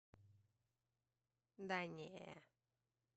да не